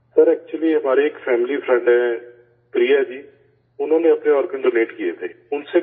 سر، دراصل ہمارے ایک فیملی فرینڈ ہیں پریہ جی، انہوں نے اپنے آرگن ڈونیٹ کیے تھے